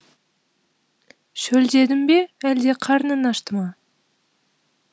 шөлдедің бе әлде қарның ашты ма